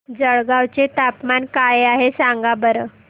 जळगाव चे तापमान काय आहे सांगा बरं